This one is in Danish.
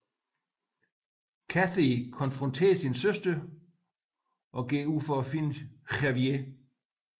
Katey konfronterer sin søster og går ud for at finde Javier